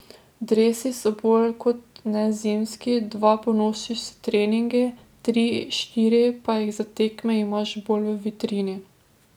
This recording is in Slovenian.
Dresi so bolj kot ne zimski, dva ponosiš s treningi, tri, štiri pa jih za tekme imaš bolj v vitrini.